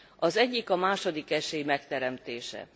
Az egyik a második esély megteremtése.